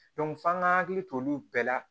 f'an k'an hakili to olu bɛɛ la